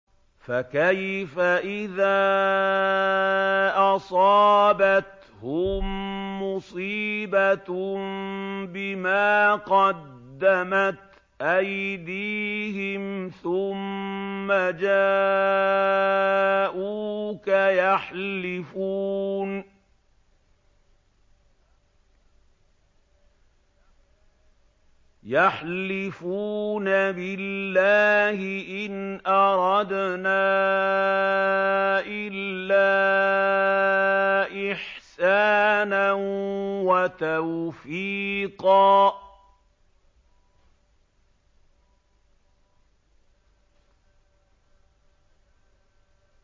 فَكَيْفَ إِذَا أَصَابَتْهُم مُّصِيبَةٌ بِمَا قَدَّمَتْ أَيْدِيهِمْ ثُمَّ جَاءُوكَ يَحْلِفُونَ بِاللَّهِ إِنْ أَرَدْنَا إِلَّا إِحْسَانًا وَتَوْفِيقًا